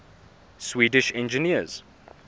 swedish engineers